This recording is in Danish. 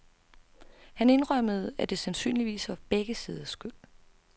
Han indrømmede, at det sandsynligvis var begge siders skyld.